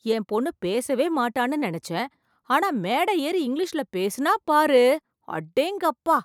என் பொண்ணு பேசவே மாட்டான்னு நெனச்சேன், ஆனா மேடை ஏறி இங்கிலிஷ்ல பேசினா பாரு, அடேங்கப்பா.